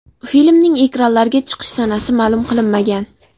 Filmning ekranlarga chiqish sanasi ma’lum qilinmagan.